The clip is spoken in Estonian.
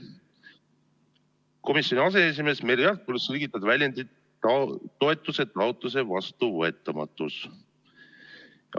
Komisjoni aseesimees Merry Aart palus selgitada väljendit "toetuse taotluse vastuvõetamatus".